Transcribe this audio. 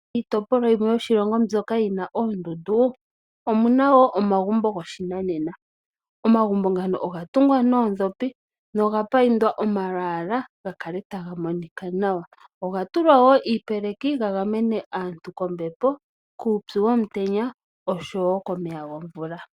Iitopolwa yimwe mbyoka yina oondundu, omuna omagumbo goshinanena . Omagumbo ngano ogatungwa noondhopi nogambambekwa omalwaala gakale taga monika nawa. Oga tulwa wo iipeleki gagamene aantu kombepo , kuupyu womutenya oshowoo komeya gomvula.